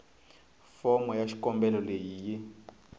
fomo ya xikombelo leyi yi